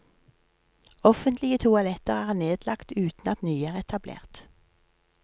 Offentlige toaletter er nedlagt uten at nye er etablert.